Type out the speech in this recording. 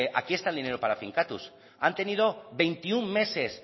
aquí está el dinero para finkatuz han tenido veintiuno meses